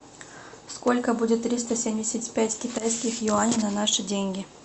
сколько будет триста семьдесят пять китайских юаней на наши деньги